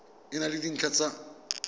e na le dintlha tsa